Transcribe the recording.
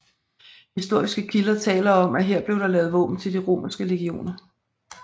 Historiske kilder taler om at her blev der lavet våben til de romerske legioner